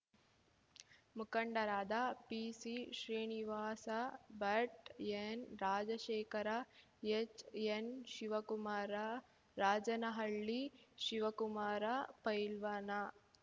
ಮುಖಂಡರಾದ ಪಿಸಿಶ್ರೀನಿವಾಸ ಭಟ್‌ ಎನ್‌ರಾಜಶೇಖರ ಎಚ್‌ಎನ್‌ಶಿವಕುಮಾರ ರಾಜನಹಳ್ಳಿ ಶಿವಕುಮಾರ ಪೈಲ್ವಾನ